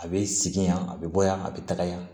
A bɛ segin yan a bɛ bɔ yan a bɛ taga yan